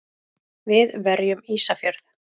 Við verjum Ísafjörð!